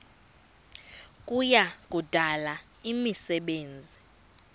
kuya kudala imisebenzi